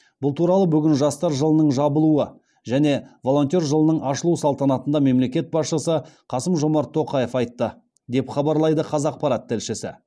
бұл туралы бүгін жастар жылының жабылуы және волонтер жылының ашылу салтанатында мемлекет басшысы қасым жомарт тоқаев айтты деп хабарлайды қазақпарат тілшісі